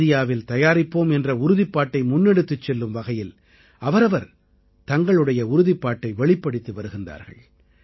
இந்தியாவில் தயாரிப்போம் என்ற உறுதிப்பாட்டை முன்னெடுத்துச் செல்லும் வகையில் அவரவர் தங்களுடைய உறுதிப்பாட்டை வெளிப்படுத்தி வருகிறார்கள்